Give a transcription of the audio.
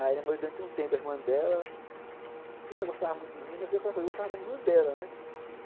Aí namorei durante um tempo a irmã dela, e ela gostava muito de mim, mas eu, claro que gostava da irmã dela, né?